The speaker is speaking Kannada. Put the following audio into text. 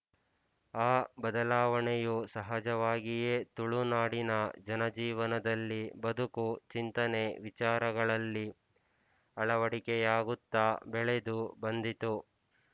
ಆ ಬದಲಾವಣೆಯು ಸಹಜವಾಗಿಯೇ ತುಳುನಾಡಿನ ಜನಜೀವನದಲ್ಲಿ ಬದುಕು ಚಿಂತನೆ ವಿಚಾರಗಳಲ್ಲಿ ಅಳವಡಿಕೆಯಾಗುತ್ತಾ ಬೆಳೆದು ಬಂದಿತು